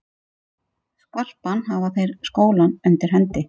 Skarpan hafa þeir skólann undir hendi.